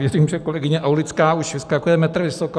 Věřím, že kolegyně Aulická už vyskakuje metr vysoko.